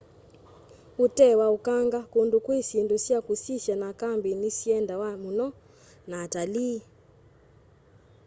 utee wa ukanga kundu kwi syindu sya kusisya na kambi ni siendawa muno ni atalii